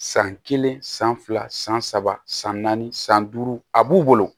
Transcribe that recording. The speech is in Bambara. San kelen san fila san saba san naani san duuru a b'u wolo